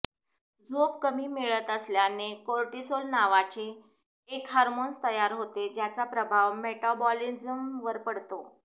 झोप कमी मिळत असल्याने कोर्टिसोल नावाचे एक हार्मोन तयार होते ज्याचा प्रभाव मेटाबॉलीज्म वर पडतो